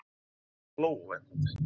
Flóvent